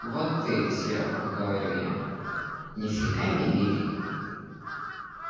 вот ты серёг говорю я ни фига не лирик